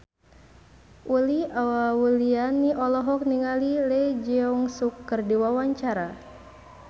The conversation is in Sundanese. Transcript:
Uli Auliani olohok ningali Lee Jeong Suk keur diwawancara